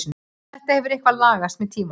Þetta hefur eitthvað lagast með tímanum.